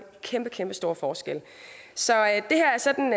kæmpe kæmpe stor forskel så det her er sådan